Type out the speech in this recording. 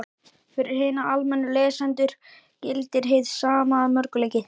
Fyrir hina almennu lesendur gildir hið sama að mörgu leyti.